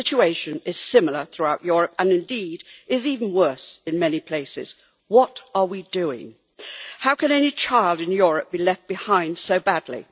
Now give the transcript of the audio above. The situation is similar throughout Europe, and indeed is even worse in many places. What are we doing? How can any child in Europe be left behind so badly?